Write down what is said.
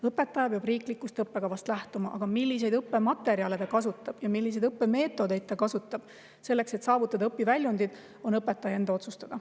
Õpetaja peab riiklikust õppekavast lähtuma, aga milliseid õppematerjale ta kasutab ja milliseid õppemeetodeid ta kasutab selleks, et saavutada õpiväljundid, on õpetaja enda otsustada.